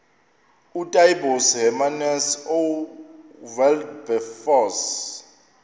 ootaaibos hermanus oowilberforce